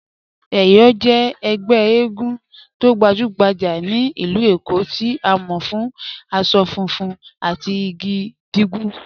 Eyọ jẹ̀ ègbè ègún tó gbajùgbàjà ní ilú Èkó tí a mọ̀ fún àṣọ fùnfun àti igi gígùn